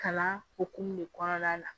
Kalan hokumu de kɔnɔna na